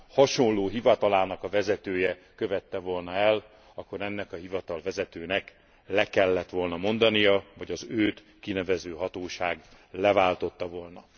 hasonló hivatalának a vezetője követte volna el, akkor ennek a hivatalvezetőnek le kellett volna mondania, vagy az őt kinevező hatóság leváltotta volna.